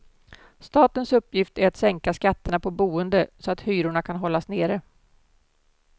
Statens uppgift är att sänka skatterna på boende så att hyrorna kan hållas nere.